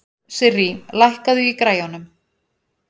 Sirrí, lækkaðu í græjunum.